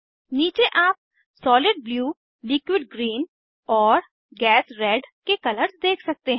नीचे आप solid blue liquid green और गैस रेड के कलर्स देख सकते हैं